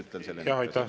Aitäh!